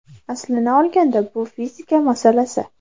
Aslini olganda bu fizika masalasi.